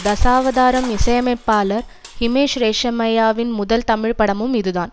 தசாவதாரம் இசையமைப்பாளர் ஹிமேஷ் ரேஷமையாவின் முதல் தமிழ்ப்படமும் இதுதான்